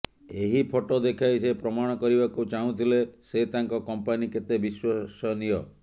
ଏହି ଫଟୋ ଦେଖାଇ ସେ ପ୍ରମାଣ କରିବାକୁ ଚାହୁଁଥିଲେ ସେ ତାଙ୍କ କଂପାନୀ କେତେ ବିଶ୍ୱସନୀୟ